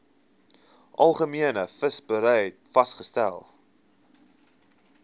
algemene visserybeleid vasgestel